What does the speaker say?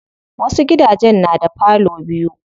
Wasu gidajen na da parlor biyu.